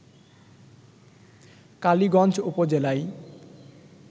কালিগঞ্জ উপজেলায়